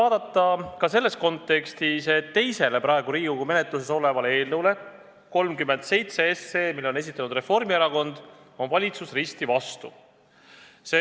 Teiseks, selles kontekstis tuleb vaadata ka praegu Riigikogu menetluses olevat eelnõu 37, mille on esitanud Reformierakond ja millele valitsus on risti vastu.